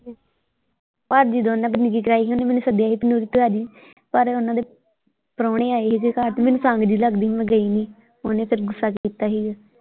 ਭਾਜੀ ਦੋਨਾਂ ਬੰਦਗੀ ਕਰਾਈ ਸੀ ਓਹਨੇ ਮੈਨੂੰ ਸੱਦਿਆ ਸੀ ਪਰ ਓਹਨਾਂ ਦੇ ਪਰਾਉਹਣੇ ਆਏ ਸੀ ਘਰ ਮੈਨੂੰ ਸੰਗ ਜਿਹੀ ਲੱਗਦੀ ਸੀ ਮੈਂ ਗਈ ਨਹੀਂ ਫੇਰ ਓਫਣੇ ਗੁੱਸਾ ਕੀਤਾ ਸੀਗਾ।